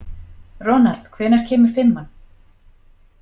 Ronald, hvenær kemur fimman?